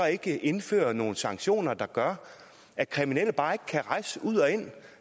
ikke indføre nogle sanktioner der gør at kriminelle bare ikke kan rejse ud og ind